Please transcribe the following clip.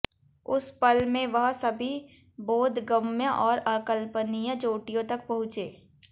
उस पल में वह सभी बोधगम्य और अकल्पनीय चोटियों तक पहुंचे